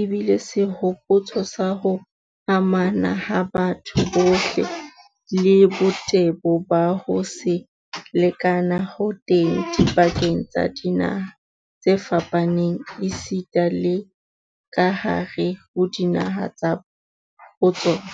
ebile sehopotso sa ho amana ha batho bohle, le botebo ba ho se lekane ho teng dipakeng tsa dinaha tse fapaneng esita le kahare ho dinaha ka botsona.